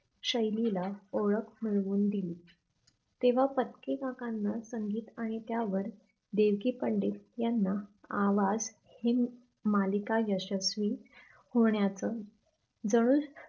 शैलीला ओळख होऊन दिली. तेव्हा पत्की काकांना संगीत आणि त्यावर देवकी पंडित यांना आवाज ही मालिका यशस्वी होण्याच जणू